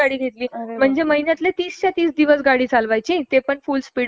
आवाज तो हॉर्न चा, त्याच्यानंतर सिलेन्सर चा तो आवाज आणि जायचं